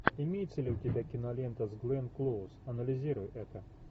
имеется ли у тебя кинолента с гленн клоуз анализируй это